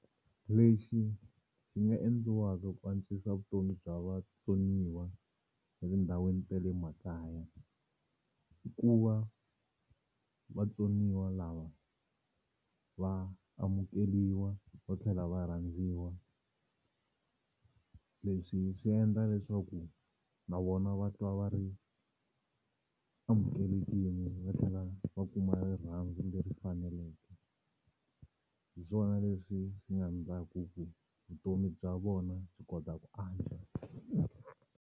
Lexi xi nga endliwaka ku antswisa vutomi bya vatsoniwa etindhawini ta le makaya i ku va vatsoniwa lava va amukeriwa va tlhela va rhandziwa. Leswi swi endla leswaku na vona va twa va ri amukelekini va tlhela va kuma rirhandzu leri faneleke. Hi swona leswi swi nga ndlaku ku vutomi bya vona byi kota ku antswa.